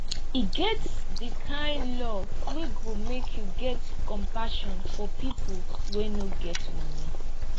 e get di kind love wey go make you get compassion for pipo wey no get moni